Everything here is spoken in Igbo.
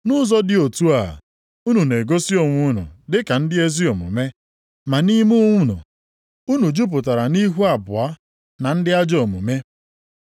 Nʼụzọ dị otu a, unu na-egosi onwe unu dị ka ndị ezi omume, ma nʼime unu, unu jupụtara nʼihu abụọ na ndị ajọ omume.